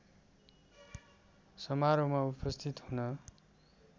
समारोहमा उपस्थित हुन